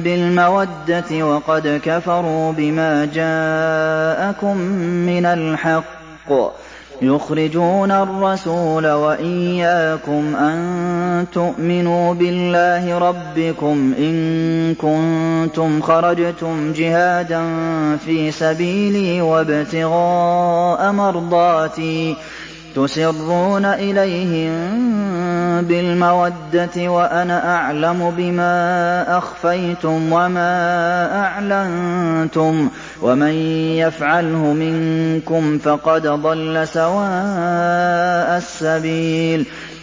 بِالْمَوَدَّةِ وَقَدْ كَفَرُوا بِمَا جَاءَكُم مِّنَ الْحَقِّ يُخْرِجُونَ الرَّسُولَ وَإِيَّاكُمْ ۙ أَن تُؤْمِنُوا بِاللَّهِ رَبِّكُمْ إِن كُنتُمْ خَرَجْتُمْ جِهَادًا فِي سَبِيلِي وَابْتِغَاءَ مَرْضَاتِي ۚ تُسِرُّونَ إِلَيْهِم بِالْمَوَدَّةِ وَأَنَا أَعْلَمُ بِمَا أَخْفَيْتُمْ وَمَا أَعْلَنتُمْ ۚ وَمَن يَفْعَلْهُ مِنكُمْ فَقَدْ ضَلَّ سَوَاءَ السَّبِيلِ